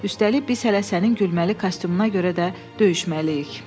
Üstəlik, biz hələ sənin gülməli kostyumuna görə də döyüşməliyik.